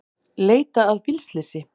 Leita að bílslysi